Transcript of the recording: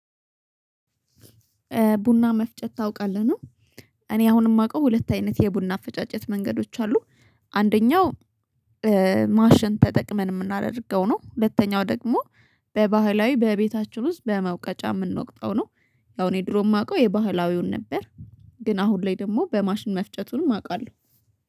ቡና መፍጨት ታውቃለህ ነው። እኔ አሁን የማውቀው ሁለት አይነት የቡና አፈጫጨት መንገዶች አሉ። አንደኛው ማሸን ተጠቅመን የምናደርገው ነው። ሁለተኛው ደግሞ በባህላዊ በቤታችን ውስጥ በመውቀጫ የምንወቅጠው ነው። ያው እኔ ድሮ የማውቀው የባህላዊውን ነበር። ግን አሁን ላይ ደግሞ በማሽን መፍጨቱንም አውቃለሁ